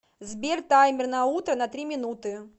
сбер таймер на утро на три минуты